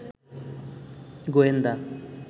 গোয়েন্দা